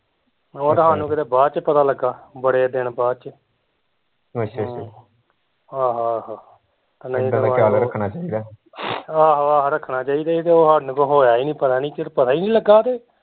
ਓਹ ਤਾਂ ਕਿਤੇ ਸਾਨੂੰ ਬਾਦ ਚ ਪਤਾ ਲਗਾ ਬੜੇ ਦਿਨ ਬਾਦ ਚ ਆਹੋ ਆਹੋ ਆਹੋ ਆਹੋ ਰੱਖਣਾ ਚਾਹੀਦਾ ਸੀ ਤੇ ਓਹ ਸਾਨੂੰ ਕੋਈ ਹੋਇਆ ਨੀ ਪਤਾ ਨੀ ਪਤਾ ਈ ਨੀ ਲਗਾ ਤੇ